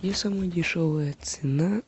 где самая дешевая цена